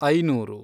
ಐನೂರು